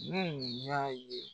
Nuhun y'a ye.